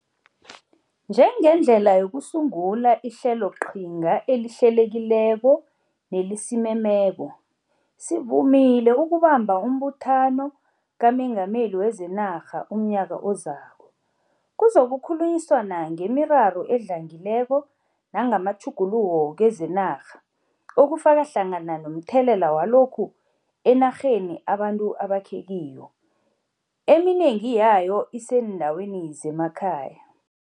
Njengendlela yokusungula ihleloqhinga elihlelekileko nelisimemeko, sivumile ukubamba uMbuthano kaMengameli wezeNarha umnyaka ozako. Kuzokukhulunyiswana ngemiraro edlangileko nangamatjhuguluko kezenarha ukufaka hlangana nomthelela walokhu enarheni abantu abakhe kiyo, eminengi yayo iseendaweni zemakhaya.